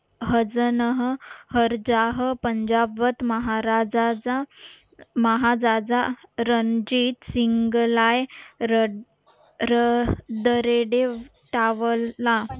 हजनाह हरजाह पंजाब मत महाराजाचा महाजाजा रणजीत सिंगलाय रड र रेडे टावला